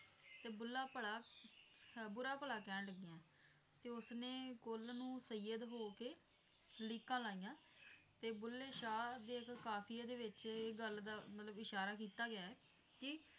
ਤੇ ਬੁੱਲ੍ਹਾ ਭਲਾ ਬੁਰਾ ਭਲਾ ਕਹਿਣ ਲੱਗੀਆਂ ਤੇ ਉਸਨੇ ਕੁਲ ਨੂੰ ਸਯੀਅਦ ਹੋਕੇ ਲੀਕਾਂ ਲਾਈਆਂ ਤੇ ਬੁੱਲੇ ਸ਼ਾਹ ਦੇ ਇੱਕ ਕਾਫੀਏ ਦੇ ਵਿੱਚ ਮਤਲਬ ਇਹ ਗੱਲ ਦਾ ਮਤਲਬ ਇਸ਼ਾਰਾ ਕੀਤਾ ਗਿਆ ਐ ਕੀ